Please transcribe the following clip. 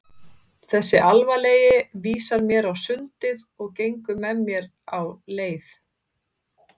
Þessi alvarlegi vísar mér á sundið og gengur með mér á leið.